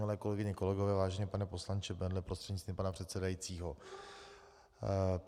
Milé kolegyně, kolegové, vážený pane poslanče Bendle, prostřednictvím pana předsedajícího.